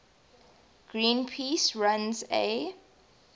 greenpeace runs a